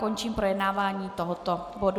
Končím projednávání tohoto bodu.